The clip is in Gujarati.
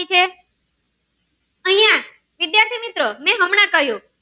વિદ્યાર્થી મિત્રો મેં હમણાં કહ્યું